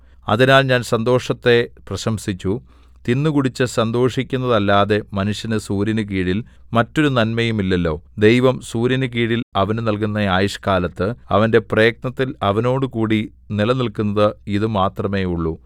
അതിനാൽ ഞാൻ സന്തോഷത്തെ പ്രശംസിച്ചു തിന്നുകുടിച്ചു സന്തോഷിക്കുന്നതല്ലാതെ മനുഷ്യന് സൂര്യനുകീഴിൽ മറ്റൊരു നന്മയുമില്ലല്ലോ ദൈവം സൂര്യനുകീഴിൽ അവന് നല്കുന്ന ആയുഷ്കാലത്ത് അവന്റെ പ്രയത്നത്തിൽ അവനോടുകൂടി നിലനില്ക്കുന്നത് ഇതുമാത്രമേയുള്ളു